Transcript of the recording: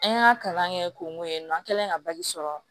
An y'a kalan kɛ ko mun ye an kɛlen ye ka sɔrɔ